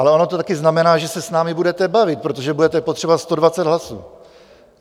Ale ono to taky znamená, že se s námi budete bavit, protože budete potřebovat 120 hlasů.